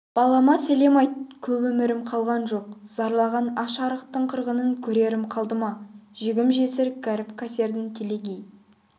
балама сәлем айт көп өмірім қалған жоқ зарлаған аш-арықтың қырғынын көрерім қалды ма жегім-жесір кәріп-кәсердің телегей